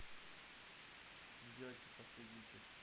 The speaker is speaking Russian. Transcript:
люди альфа последняя часть